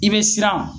I bɛ siran